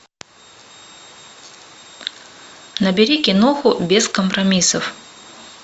набери киноху без компромиссов